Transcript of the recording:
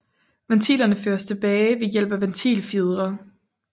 Ventilerne føres tilbage ved hjælp af ventilfjedre